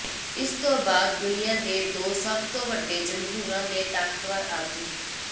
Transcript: ਇਸ ਤੋਂ ਬਾਅਦ ਦੁਨੀਆ ਦੇ ਦੋ ਸਭ ਤੋਂ ਵੱਡੇ ਜਮਹੂਰਾਂ ਦੇ ਤਾਕਤਵਰ ਆਗੂ